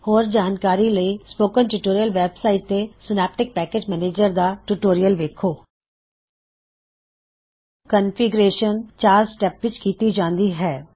ਹੋਰ ਜਾਣਕਾਰੀ ਲਈ ਸਪੋਕਨ ਟਿਊਟੋਰਿਯਲ ਵੈਬ ਸਾਇਟ ਤੇ ਸਿਨੈਪਟਿਕ ਪੈਕਿਜ਼ ਮੈਨਿਜ਼ਰ ਦਾ ਟਿਊਟੋਰਿਯਲ ਵੇਖੋ ਕਨਫਿਗ੍ਰੇਸ਼ਨ ਚਾਰ ਸਟੈਪ ਵਿੱਚ ਕੀਤੀ ਜਾਉਂਦੀ ਹੈ